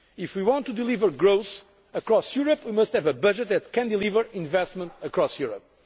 If we want to deliver growth across Europe we must have a budget that can deliver investment across